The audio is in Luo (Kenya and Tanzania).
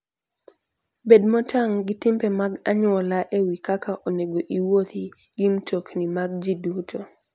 Bed motang' gi timbe mag anyuola e wi kaka onego iwuothi gi mtokni mag ji duto.